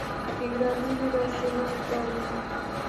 игра ливера с эвертоном